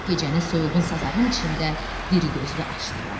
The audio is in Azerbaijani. Gecəni soyuğun sazağın içində diri-gözlü açdılar.